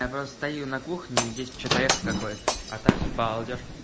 я просто стою на кухне здесь что-то я хоть какое-то а так всё балдёж